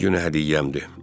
Ad günü hədiyyəmdir.